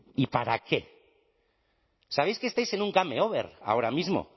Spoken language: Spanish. y para qué sabéis que estáis en un game over ahora mismo